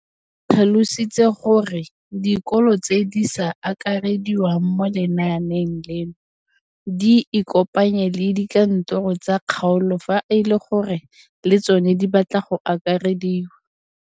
O tlhalositse gore dikolo tse di sa akarediwang mo lenaaneng leno di ikopanye le dikantoro tsa kgaolo fa e le gore le tsona di batla go akarediwa.